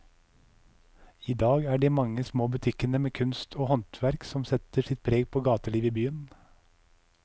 I dag er det de mange små butikkene med kunst og håndverk som setter sitt preg på gatelivet i byen.